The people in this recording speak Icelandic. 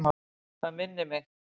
Það minnir mig.